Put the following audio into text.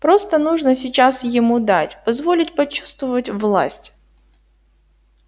просто нужно сейчас ему дать позволить почувствовать власть